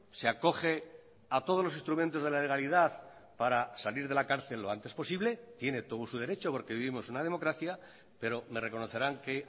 se acoge a todos los instrumentos de la legalidad para salir de la cárcel lo antes posible tiene todo su derecho porque vivimos una democracia pero me reconocerán que